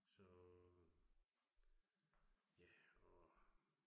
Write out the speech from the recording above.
Så. Ja og